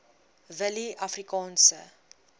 willieafrikaanse